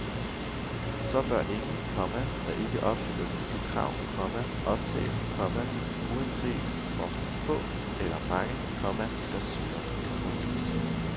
Så bør ingen, komma der ikke opfylder disse krav, komma optages, komma uanset hvor få eller mange, komma der søger. punktum